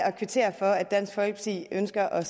at kvittere for at dansk folkeparti ønsker at